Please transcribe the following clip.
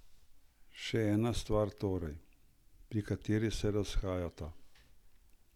Še ena stvar torej, pri kateri se razhajata...